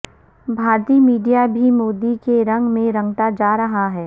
بھارتی میڈیا بھی مودی کے رنگ میں رنگتا جا رہا ہے